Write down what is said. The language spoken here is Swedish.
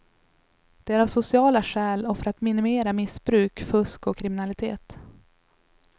Det är av sociala skäl och för att minimera missbruk, fusk och kriminalitet.